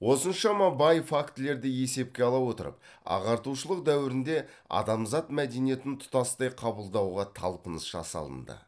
осыншама бай фактілерді есепке ала отырып ағартушылық дөуірінде адамзат мәдениетін тұтастай қабылдауға талпыныс жасалынды